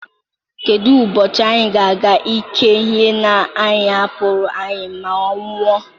Kedu ubochi anyị ga-eke ihe nna anyị hapụrụ anyị maa nwụọ?